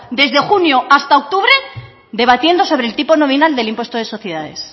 desde junio hasta octubre debatiendo sobre el tipo nominal del impuesto de sociedades